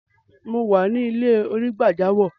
Mo wà ni ilẹ̀-onígbàjàmọ́.